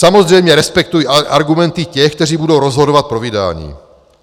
"Samozřejmě respektuji argumenty těch, kteří budou rozhodovat pro vydání.